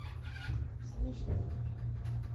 свяжи меня